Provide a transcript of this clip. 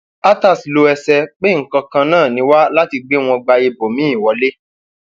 atass lo ẹsẹ pé nǹkan kan náà ni wá láti gbé wọn gba ibòmíín wọlé